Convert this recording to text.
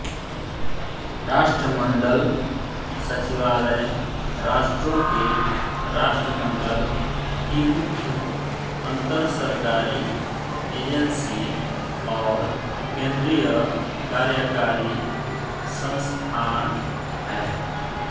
राष्ट्रमंडल सचिवालय राष्ट्रों के राष्ट्रमंडल की मुख्य अंतरसरकारी एजेंसी और केंद्रीय कार्यकारी संस्थान है